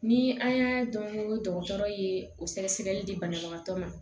Ni an y'a dɔn ko dɔgɔtɔrɔ ye o sɛgɛsɛgɛli di banabagatɔ ma